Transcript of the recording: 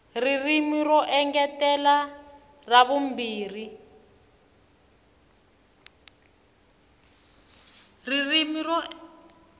ririmi ro engetela ra vumbirhi